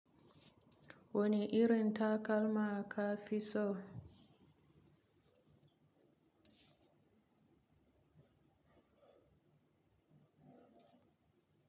Wane irin takalma ka fi so?